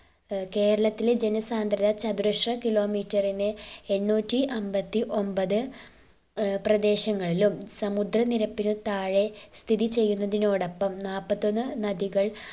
ഏർ കേരളത്തിലെ ജന സാന്ദ്രത ചതുരശ്ര kilometer നെ എണ്ണൂറ്റിഅൻപത്തിഒന്പത്‌ ഏർ പ്രദേശങ്ങളിലും സമുദ്ര നിരപ്പിന് താഴെ സ്ഥിതി ചെയ്യുന്നതിനോടൊപ്പം നാൽപത്തൊന്ന് നദികൾ